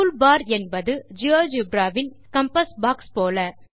tool bar என்பது GeoGebra வின் compass box போல